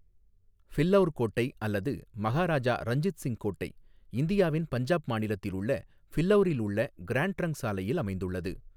ஃபில்லௌர் கோட்டை அல்லது மஹாராஜா ரஞ்சித் சிங் கோட்டை, இந்தியாவின் பஞ்சாப் மாநிலத்தில் உள்ள ஃபில்லௌரில் உள்ள கிராண்ட் டிரங்க் சாலையில் அமைந்துள்ளது.